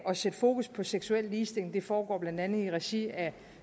at sætte fokus på seksuel ligestilling det foregår blandt andet i regi af